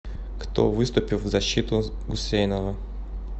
кто выступил в защиту гусейнова